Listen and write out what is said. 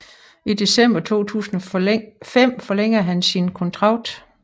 I december 2005 forlængede han sin kontrakt